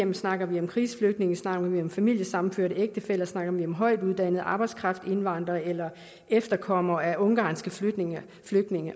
vi snakker om krigsflygtninge snakker om familiesammenførte ægtefæller snakker om højtuddannet arbejdskraft indvandrere eller efterkommere af ungarske flygtninge flygtninge